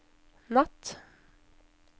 natt